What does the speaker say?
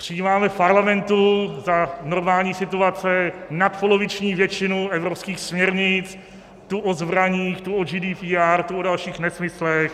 Přijímáme v Parlamentu za normální situace nadpoloviční většinu evropských směrnic tu o zbraních, tu o GDPR, tu o dalších nesmyslech.